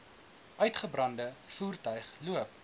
uitgebrande voertuig loop